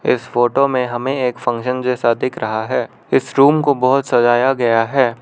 इस फोटो में हमें एक फंक्शन जैसा दिख रहा है इस रूम को बहोत सजाया गया है।